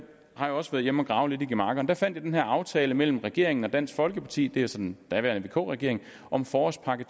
har jo også været hjemme og grave lidt i gemakkerne der fandt jeg den her aftale mellem regeringen og dansk folkeparti det var så den daværende vk regering om forårspakke